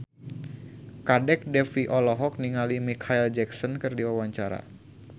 Kadek Devi olohok ningali Micheal Jackson keur diwawancara